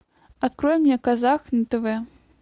открой мне казах на тв